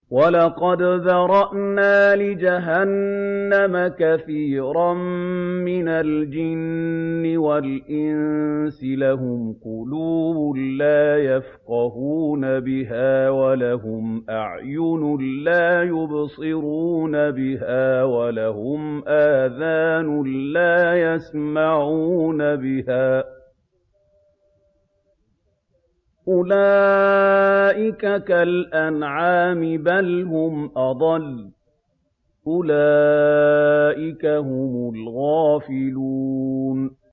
وَلَقَدْ ذَرَأْنَا لِجَهَنَّمَ كَثِيرًا مِّنَ الْجِنِّ وَالْإِنسِ ۖ لَهُمْ قُلُوبٌ لَّا يَفْقَهُونَ بِهَا وَلَهُمْ أَعْيُنٌ لَّا يُبْصِرُونَ بِهَا وَلَهُمْ آذَانٌ لَّا يَسْمَعُونَ بِهَا ۚ أُولَٰئِكَ كَالْأَنْعَامِ بَلْ هُمْ أَضَلُّ ۚ أُولَٰئِكَ هُمُ الْغَافِلُونَ